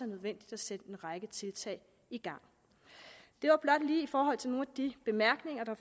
nødvendigt at sætte en række tiltag i gang det var blot lige i forhold til nogle af de bemærkninger der